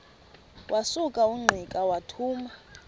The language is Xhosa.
wasuka ungqika wathuma